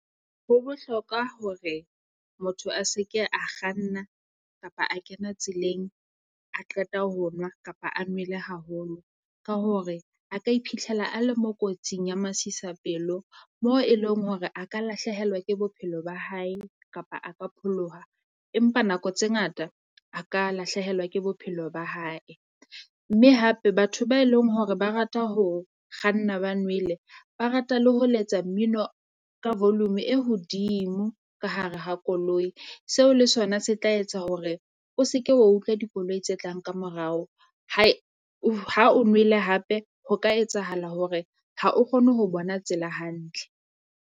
Ho bohlokwa hore motho a se ke a kganna kapa a kena tseleng a qeta ho nwa kapa a nwele haholo, ka hore a ka iphitlhela a le mo kotsing ya masisapelo mo e leng hore a ka lahlehelwa ke bophelo ba hae, kapa a ka pholoha. Empa nako tse ngata a ka lahlehelwa ke bophelo ba hae. Mme hape batho ba e leng hore ba rata ho kganna ba nwele, ba rata le ho letsa mmino ka volume e hodimo ka hare ha koloi. Seo le sona se tla etsa hore o se ke wa utlwa dikoloi tse tlang kamorao hai ha o nwele hape ho ka etsahala hore ha o kgone ho bona tsela hantle.